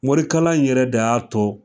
Morikalan yɛrɛ de y'a to